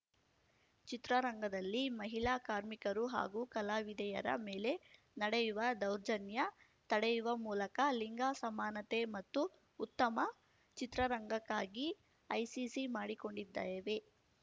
ಚಿತ್ರರಂಗದಲ್ಲಿ ಮಹಿಳಾ ಕಾರ್ಮಿಕರು ಹಾಗೂ ಕಲಾವಿದೆಯರ ಮೇಲೆ ನಡೆಯುವ ದೌರ್ಜನ್ಯ ತಡೆಯುವ ಮೂಲಕ ಲಿಂಗ ಸಮಾನತೆ ಮತ್ತು ಉತ್ತಮ ಚಿತ್ರರಂಗಕ್ಕಾಗಿ ಐಸಿಸಿ ಮಾಡಿಕೊಂಡಿದ್ದೇವೆ